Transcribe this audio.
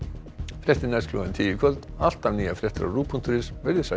fréttir næst klukkan tíu í kvöld alltaf nýjar fréttir á ruv punktur is verið þið sæl